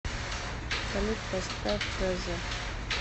салют поставь фреза